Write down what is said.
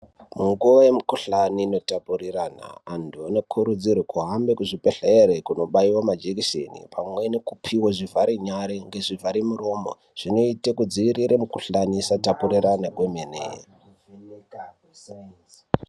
Munguwe yemukhuhlani inotapurirana, antu anokurudzirwe kuhambe kuzvibhedhlere kunobaiwa majekiseni, pamwe nekupiwa zvivharenyare ngezvivhare miromo. Zvinoite kudzivirire mikhuhlani isatapurirane kwemene.